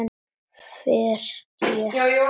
Ferð létt með tvær.